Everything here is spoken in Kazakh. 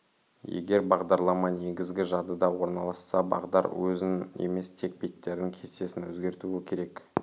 егер бағдарлама негізгі жадыда орналасса бағдар өзін емес тек беттердің кестесін өзгертуі керек